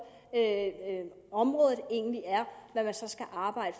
området egentlig er